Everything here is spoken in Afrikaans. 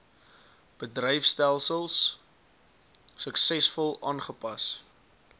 bedryfstelsels suksesvol aanpas